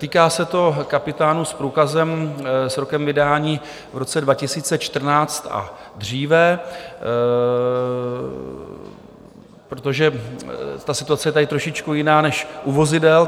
Týká se to kapitánů s průkazem s rokem vydání v roce 2014 a dříve, protože ta situace je tady trošičku jiná než u vozidel.